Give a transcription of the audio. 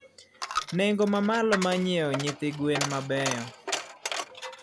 Nengo mamalo mar ng'iewo nyithi gwen mabeyo.